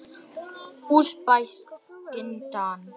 Úsbekistan